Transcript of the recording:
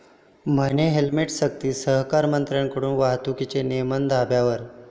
म्हणे हेल्मेटसक्ती!, सहकारमंत्र्यांकडूनच वाहतुकीचे नियम धाब्यावर